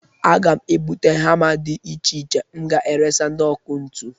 Aga m ebute hama di iche iche m ga-eresa ndị ọkụntu.